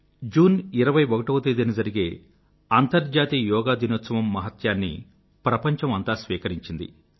June 21వ తేదీన జరిగే అంతర్జాతీయ యోగా దినోత్సవం మహత్యాన్ని ప్రపంచం అంతా స్వీకరించింది